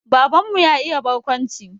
Baban mu ya iya barkwanci